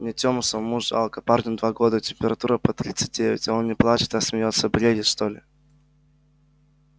мне тёму самому жалко парню два года температура под тридцать девять а он не плачет а смеётся бредит что ли